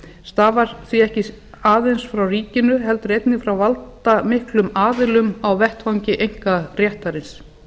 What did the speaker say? stafar því ekki aðeins frá ríkinu heldur einnig frá valdamiklum aðilum á vettvangi einkaréttarins